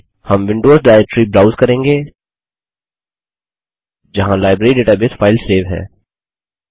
हम Windows directory browse करेंगे जहाँ लाइब्रेरी डेटाबेस फाइल सेव है